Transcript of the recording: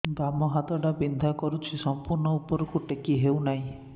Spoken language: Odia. ବାମ ହାତ ଟା ବିନ୍ଧା କରୁଛି ସମ୍ପୂର୍ଣ ଉପରକୁ ଟେକି ହୋଉନାହିଁ